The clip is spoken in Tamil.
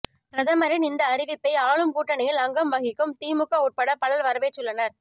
பிரதமரின் இந்த அறிவிப்பை ஆளும் கூட்டணியில் அங்கம் வகிக்கும் திமுக உட்பட பலர் வரவேற்றுள்ளனர்